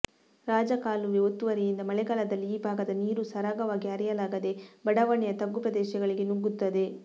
ರಾಜಕಾಲುವೆ ಒತ್ತುವರಿಯಿಂದ ಮಳೆಗಾಲದಲ್ಲಿಈ ಭಾಗದ ನೀರು ಸರಾಗವಾಗಿ ಹರಿಯಲಾಗದೆ ಬಡಾವಣೆಯ ತಗ್ಗು ಪ್ರದೇಶಗಳಿಗೆ ನುಗ್ಗುತ್ತದೆ